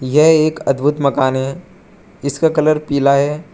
यह एक अद्भुत मकान है जीसका कलर पीला है।